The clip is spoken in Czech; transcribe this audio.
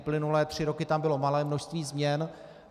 Uplynulé tři roky tam bylo malé množství změn.